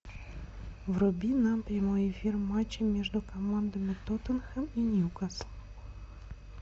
вруби нам прямой эфир матча между командами тоттенхэм и ньюкасл